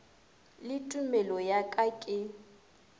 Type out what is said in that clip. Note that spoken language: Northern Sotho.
le tumelo ya ka ke